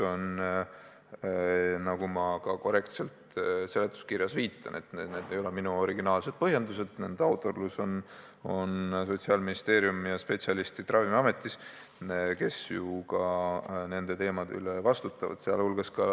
Nagu ma ka korrektselt seletuskirjas viitan, need ei ole minu originaalsed põhjendused, nende autorid on Sotsiaalministeeriumi ja Ravimiameti spetsialistid, kes ju ka nende teemade puhul vastutavad.